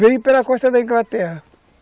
Veio pela costa da Inglaterra.